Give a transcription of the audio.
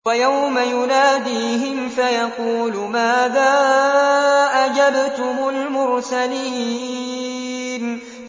وَيَوْمَ يُنَادِيهِمْ فَيَقُولُ مَاذَا أَجَبْتُمُ الْمُرْسَلِينَ